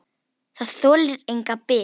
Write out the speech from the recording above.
Það þolir enga bið.